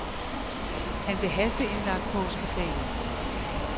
Han blev hasteindlagt på hospitalet.